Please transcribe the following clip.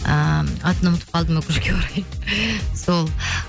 ыыы атын ұмытып қалдым өкінішке орай сол